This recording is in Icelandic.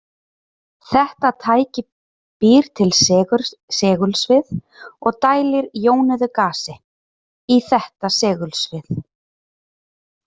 Þetta tæki býr til segulsvið og dælir jónuðu gasi, í þetta segulsvið.